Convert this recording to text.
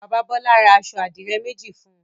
Bàbá Bọ́lá ra aṣọ àdìrẹ́ méjì fún un.